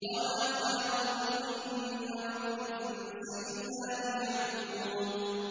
وَمَا خَلَقْتُ الْجِنَّ وَالْإِنسَ إِلَّا لِيَعْبُدُونِ